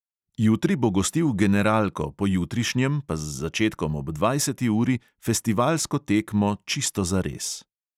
Jutri bo gostil generalko, pojutrišnjem pa z začetkom ob dvajseti uri festivalsko tekmo čisto zares.